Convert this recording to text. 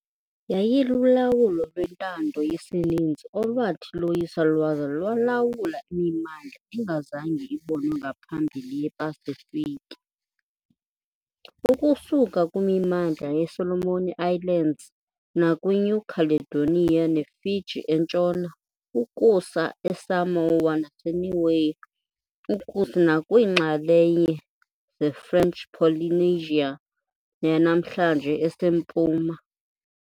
Yayilulawulo lwentando yesininzi olwathi loyisa lwaza lwalawula imimandla engazange ibonwe ngaphambili yePasifiki, ukusuka kwimimandla yeSolomon Islands nakwiNew Caledonia neFiji entshona ukusa eSamoa naseNiue ukusa nakwiinxalenye zeFrench Polynesia yanamhlanje esempuma. .